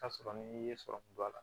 Ka sɔrɔ ni i ye sɔrɔ kun don a la